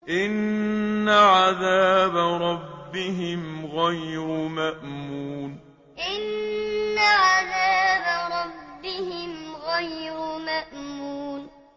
إِنَّ عَذَابَ رَبِّهِمْ غَيْرُ مَأْمُونٍ إِنَّ عَذَابَ رَبِّهِمْ غَيْرُ مَأْمُونٍ